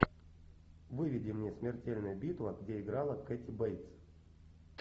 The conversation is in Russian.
выведи мне смертельная битва где играла кэти бейтс